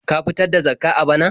Ka fitar da Zakkah a bana?